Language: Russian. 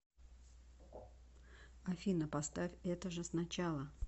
афина поставь это же сначала